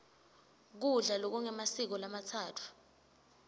kudla lokungemasiko lamatsatfu